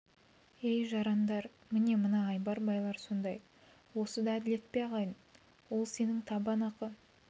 ей жарандар міне мына айбар байлар сондай осы да әділет пе ағайын ол сенің табан ақы